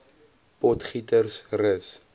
potgietersrus